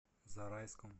зарайском